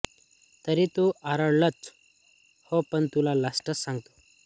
तरी ते आराल्डंच ह्ये पग तुला लाष्टचं सांगतो